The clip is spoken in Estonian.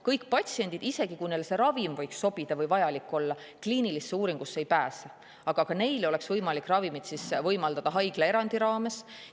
Kõik patsiendid – isegi kui neile see ravim võiks sobida või vajalik olla – kliinilisele uuringule ei pääse, aga ka neile oleks siis võimalik ravimit haiglaerandi raames võimaldada.